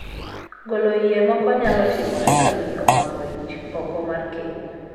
Golo iye moko nyalo timore ka miyo omako ich oko mar keny.